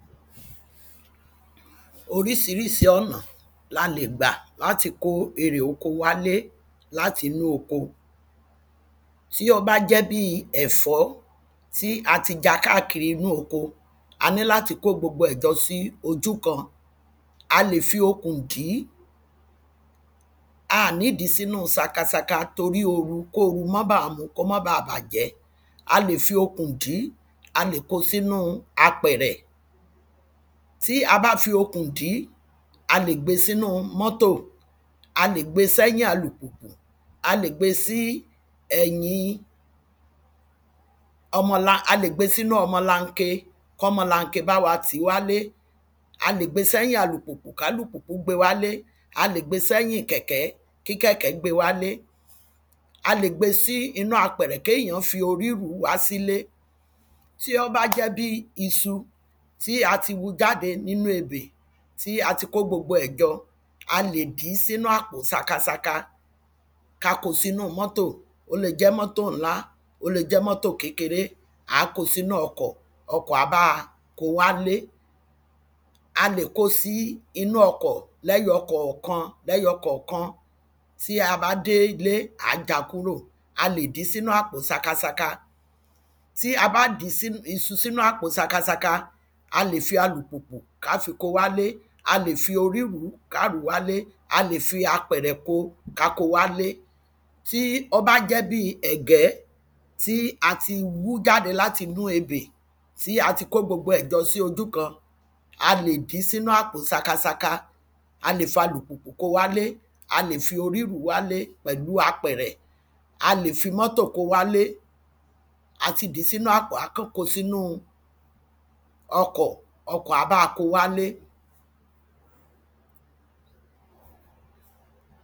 Orísirísi ọ̀nà la lè gbà láti kó erè oko wálé láti inú oko. Tí ó bá jẹ́ bí ẹ̀fọ́ tí a ti já káàkiri inú oko a ní láti kó gbogbo ẹ̀ jọ sí ojú kan a lè fi okùn dì í a ní dì í sínú saka saka torí oru kóru má ba mú kó má ba bàjẹ́. A lè fi okùn dì í a lè kó sínú apẹ̀rẹ̀. Tí a bá fi okùn dì í a lè gbé sínú mọ́tò a lè gbé sẹ́yìn alùpùpù a lè gbé sí ẹ̀yin ọmọ a lè gbé sínú ọmọ lanke kọ́mọ lanke bá wa tì í wálé a lè gbé sẹ́yìn alùpùpù kálùpùpù gbé wálé a lè gbé sẹ́yìn kèkẹ́ kí kẹ̀kẹ́ gbé wálé. A lè gbé sí inú apẹ̀rẹ̀ kéyàn forí rùú wá sílé. Tí ó bá jẹ́ bí isu tí a ti hu jáde nínú ebè tí a ti kó gbogbo ẹ̀ jọ a lè dìí sínú àpò saka saka ká kó sínú mọ́tọ̀ ó le jẹ́ mọ́tọ̀ ńlá ó le jẹ́ mọ́tọ̀ kékeré á kó sínú ọkọ̀ ọkọ̀ á bá wa kó wálé A lè kó sí inú ọkọ̀ lẹ́yọkọ̀kan lẹ́yọkọ̀kan tí a bá dé ilé à á já kúrò a lè dí sínú àpò saka saka. Tí a bá dí isu sínú àpò saka saka a lè fi alùpùpù ká fi kó wálé a lè fi orí rùú ká rù wálé a lè fi apẹ̀rẹ̀ kó ká kó wálé. Tí ó bá jẹ́ bí ẹ̀gẹ́ tí a ti hù jáde láti inú ebè tí a ti kó gbogbo ẹ̀ jọ sí ojú kan a lè dí sínú àpò saka saka a lè fi alùpùpù kó wálé a lè fi orí rùú wálé pẹ̀lú apẹ̀rẹ̀. A lè fi mọ́tọ̀ kó wálé a ti dìí sínú àpò á kàn kó sínú ọkọ̀ ọkọ̀ á bá wa kó wálé.